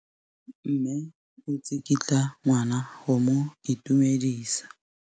Mme o tsikitla ngwana go mo itumedisa.